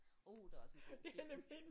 Uh der er også en god film